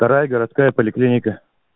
вторая городская поликлиника